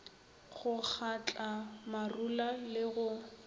go kgatla marula le go